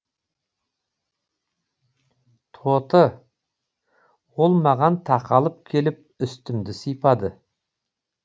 тоты ол маған тақалып келіп үстімді сипады